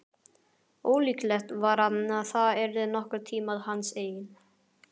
Ólíklegt var að það yrði nokkurn tíma hans eign.